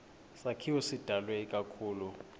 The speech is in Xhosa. sakhiwo sidalwe ikakhulu